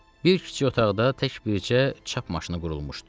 Bir kiçik otaqda tək bircə çap maşını qurulmuşdu.